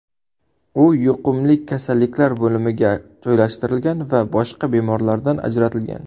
U yuqumlik kasalliklar bo‘limiga joylashtirilgan va boshqa bemorlardan ajratilgan.